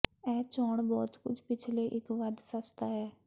ਇਹ ਚੋਣ ਬਹੁਤ ਕੁਝ ਪਿਛਲੇ ਇੱਕ ਵੱਧ ਸਸਤਾ ਹੈ